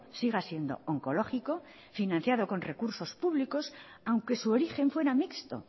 siga siendo oncológico financiado con recursos públicos aunque su origen fuera mixto